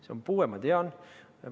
See on puue, ma tean.